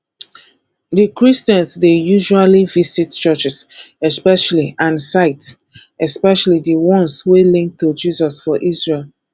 di christians dey usually visit churches especially and sites especially di ones wey link to jesus for isreal